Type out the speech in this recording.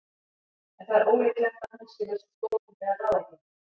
En það er ólíklegt að hún sé með svo stórfenglegar ráðagerðir.